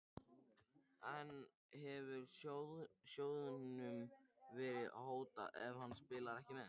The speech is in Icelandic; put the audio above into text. En hefur sjóðnum verið hótað ef hann spilar ekki með?